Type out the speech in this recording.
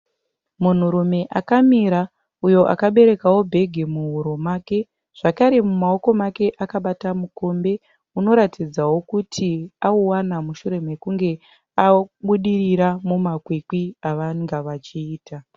Munhurume akamira uyo akaberekawo bhege muhuro make. Zvakare mumaoko ake akabata mukombe unoratidzawo kuti auwana mushure mukunge abudirira mumakwikwi avanga vachiita.